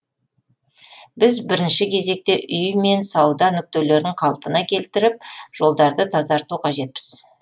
біз бірінші кезекте үй мен сауда нүктелерін қалпына келтіріп жолдарды тазарту қажетпіз